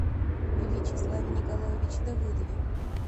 вячеславе николаевиче давыдове